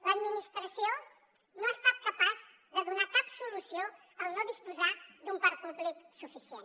l’administració no ha estat capaç de donar hi cap solució al no disposar d’un parc públic suficient